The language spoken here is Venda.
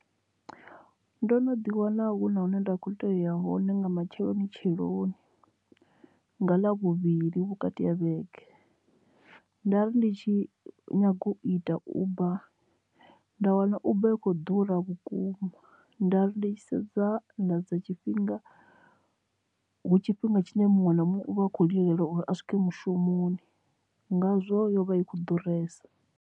Ndo no ḓi wana hu na hune nda kho tea uya hone nga matsheloni tsheloni nga ḽavhuvhili vhukati ha vhege nda ri ndi tshi nyaga u ita uber nda wana uber i khou ḓura vhukuma nda ri ndi tshi sedza nda dza tshifhinga hu tshifhinga tshine muṅwe na muṅwe u vha a khou lilela uri a swike mushumoni ngazwo yo vha i kho ḓuresa.